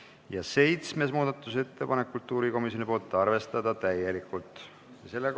Ja seitsmes muudatusettepanek on kultuurikomisjonilt, arvestada täielikult.